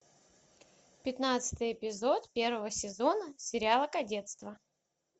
пятнадцатый эпизод первого сезона сериала кадетство